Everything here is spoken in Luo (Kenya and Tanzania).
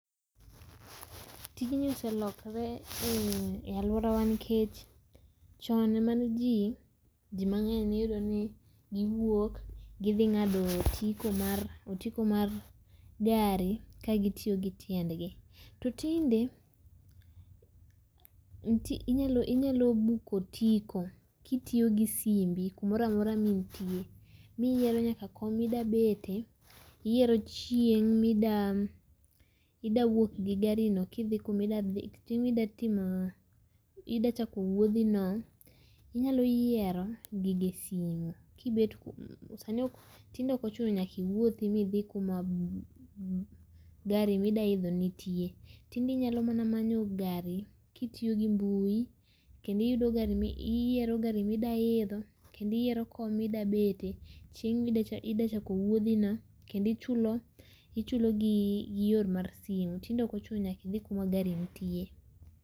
Tijni oselokore e aluorawa nikech chon mane jii jii mang'eny iyudoni giwuok gidhi ng'ado otiko, otiko mar gari kagitiyo gi tiendgi, to tinde inyalo book otiko kitiyo gi simbi kumoro amora ma intie miyiero nyaka kom ma ida bete, iyiero chieng' mida wuok gi gari kidhi kuma idwa dhi)?)chako wuodhi no, inyalo yiero gigi e simu kibet, sani tinde ok ochuno mondo iwuothi midhi kuma gari midwa idho nitie. Tinde inyalo mana manyo gari kitiyo gi mbui, kendo iyudo gari, iyiero gari midwa idho kendo iyiero kom mida bete, chieng midwa chako chieng midwa chako idwa chako wuodhi no kendo ichulo gi yor mar simu tinde ok ochuno idhi kuma gari nitie